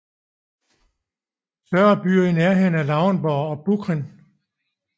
Større byer i nærheden er Lauenburg og Büchen